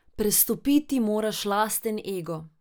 Prestopiti moraš lasten ego.